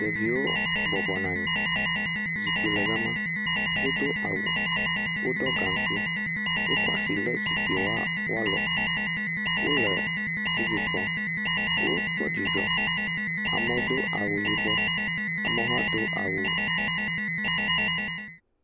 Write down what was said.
Ɖeviwo bɔbɔ nɔ anyi. Zikpui le gama, wodo awu, woɖo gankui, Wokɔ asi le zikpuia woakɔ, wole TV kpɔm, wò dzidzɔ, amewo do awu yibɔ, amewo hã do awu......